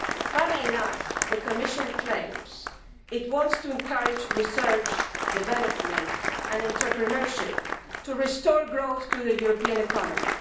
Funnily enough, the Commission claims it wants to encourage research, development and entrepreneurship, in order to restore growth to the European economy.